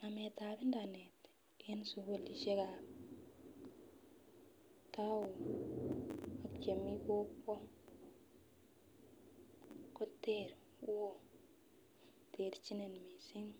Nametab internet en sukulishekab town ak chemeii kokwet koter woo terchinet missing